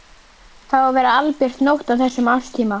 Það á að vera albjört nótt á þessum árstíma.